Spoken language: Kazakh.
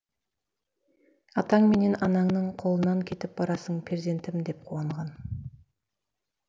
атаң менен анаңның қолынан кетіп барасың перзентім деп куанған